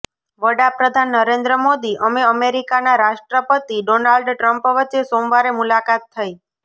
વડાપ્રધાન નરેન્દ્ર મોદી અમે અમેરિકાના રાષ્ટ્રપતિ ડોનાલ્ડ ટ્રમ્પ વચ્ચે સોમવારે મુલાકાત થઈ